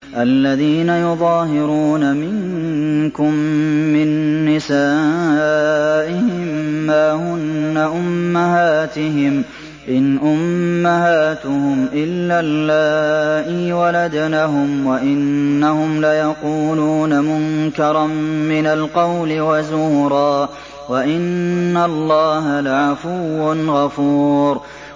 الَّذِينَ يُظَاهِرُونَ مِنكُم مِّن نِّسَائِهِم مَّا هُنَّ أُمَّهَاتِهِمْ ۖ إِنْ أُمَّهَاتُهُمْ إِلَّا اللَّائِي وَلَدْنَهُمْ ۚ وَإِنَّهُمْ لَيَقُولُونَ مُنكَرًا مِّنَ الْقَوْلِ وَزُورًا ۚ وَإِنَّ اللَّهَ لَعَفُوٌّ غَفُورٌ